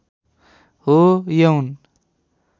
हो यौन